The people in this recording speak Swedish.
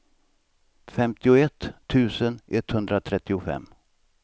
femtioett tusen etthundratrettiofem